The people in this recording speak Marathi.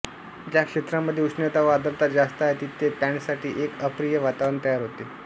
ज्या क्षेत्रांमध्ये उष्णता व आर्द्रता जास्त आहे तिथे पॅन्टसाठी एक अप्रिय वातावरणात तयार होते